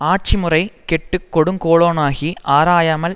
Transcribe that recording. ஆட்சி முறை கெட்டு கொடுங்கோலனாகி ஆராயாமல்